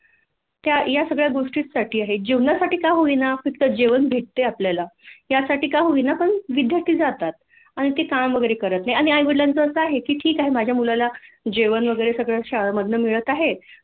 या सगळ्या गोष्टी आहे जेवणासाठी का होईना फक्त जेवण भेटतय आपल्याला त्यासाठी का होईना पण विद्यार्थी जातात आणि ते काम वैगरे करत नाही आईवडीलांच आस आहे कि ठिक आहे माझ्या मुलाला जेवण वैगरे सगळ शाळेमधन मिळत आहे